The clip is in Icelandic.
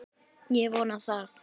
Ég vona það!